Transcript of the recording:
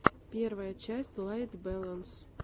первая часть лайт бэлэнс